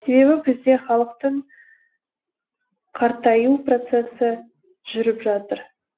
себебі бізде халықтың қартаю процесі жүріп жатыр